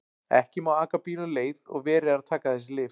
Ekki má aka bíl um leið og verið er að taka þessi lyf.